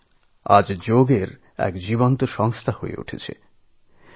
Lynch এক চলমান যোগাপ্রতিষ্ঠান